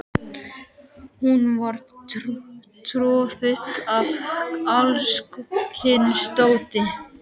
Hún var troðfull af alls kyns dóti.